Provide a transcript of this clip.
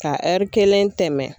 Ka kelen tɛmɛ.